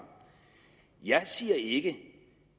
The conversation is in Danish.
jeg siger ikke